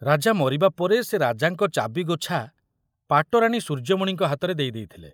ରାଜା ମରିବାପରେ ସେ ରାଜାଙ୍କ ଚାବିଗୋଛା ପାଟରାଣୀ ସୂର୍ଯ୍ୟମଣିଙ୍କ ହାତରେ ଦେଇ ଦେଇଥିଲେ।